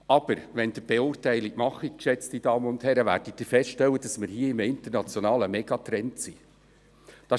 Aber wenn Sie die Beurteilung machen, werden Sie feststellen, dass wir hier in einem internationalen Megatrend sind.